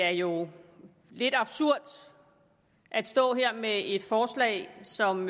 er jo lidt absurd at stå her med et forslag som